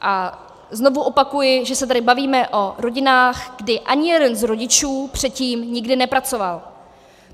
A znovu opakuji, že se tady bavíme o rodinách, kdy ani jeden z rodičů předtím nikdy nepracoval.